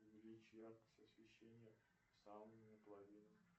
увеличь яркость освещения в сауне на половину